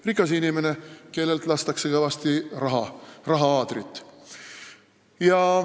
Rikas inimene, kellel lastakse kõvasti raha-aadrit.